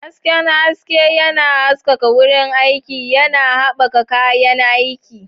Hasken haske yana haskaka wurin aiki, yana haɓaka yawan aiki.